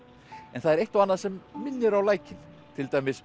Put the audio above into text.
en það er eitt og annað sem minnir á lækinn til dæmis